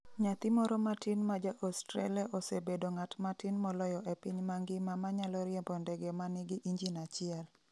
Nyathi moro matin ma ja Australia osebedo ng’at matin moloyo e piny mangima ma nyalo riembo ndege ma nigi injin achiel.